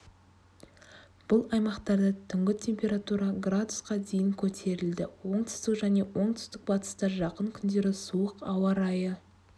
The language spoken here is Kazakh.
бұл аймақтарда түнгі температура градусқа дейін көтерілді оңтүстік және оңтүстік-бастыста жақын күндері суық ауа райы